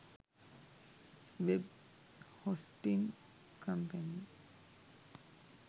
web hosting company